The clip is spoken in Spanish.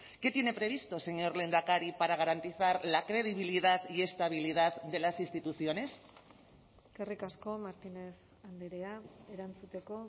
qué tiene previsto señor lehendakari para garantizar la credibilidad y estabilidad de las instituciones eskerrik asko martínez andrea erantzuteko